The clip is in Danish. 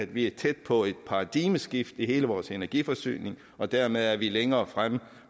vi er tæt på et paradigmeskifte i hele vores energiforsyning og dermed er vi længere fremme